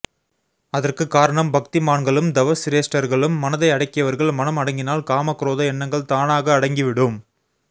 அதற்கு காரணம் பக்திமான்களும் தவ சிரேஷ்டர்களும் மனதை அடக்கியவர்கள் மனம் அடங்கினால் காம குரோத எண்ணங்கள் தானாக அடங்கி விடும்